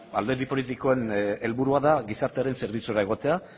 alderdi politikoen helburua da gizartearen zerbitzura egotea